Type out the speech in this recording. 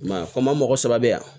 I m'a ye ko n ma mɔgɔ saba be yan